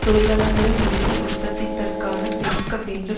தொழிலாளர்களின் உழைப்பில் உற்பத்தித்தற்க்கான பெருக்க வேண்டும்